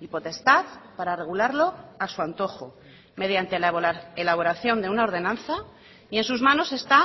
y potestad para regularlo a su antojo mediante la elaboración de una ordenanza y en sus manos está